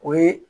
O ye